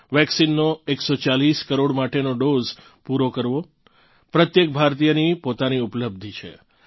વેક્સિનનો 140 કરોડ માટેનો ડોઝ પૂરો કરવો પ્રત્યેક ભારતીયની પોતાની ઉપલબ્ધિ છે